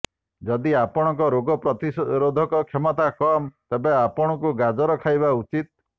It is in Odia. ଯଦି ଆପଣଙ୍କ ରୋଗ ପ୍ରତିରୋଧକ କ୍ଷମତା କମ୍ ତେବେ ଆପଣଙ୍କୁ ଗାଜର ଖାଇବା ଉଚିତ୍